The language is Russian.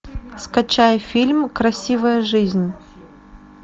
скачай фильм красивая жизнь